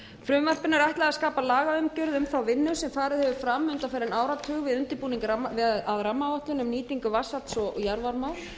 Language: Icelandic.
frumvarpinu er ætlað að skapa lagaumgjörð um þá vinnu sem farið hefur fram undanfarinn áratug við undirbúning að rammaáætlun um nýtingu vatnsafls og jarðvarma